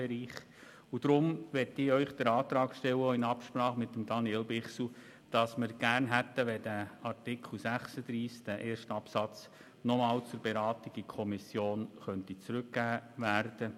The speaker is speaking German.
Deshalb möchte ich dem Rat auch in Absprache mit Daniel Bichsel den Antrag stellen, Artikel 36 Absatz 1 noch einmal zur Beratung in die Kommission zurückzugeben.